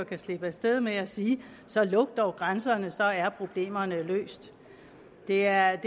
kan slippe af sted med at sige så luk dog grænserne så er problemerne løst det er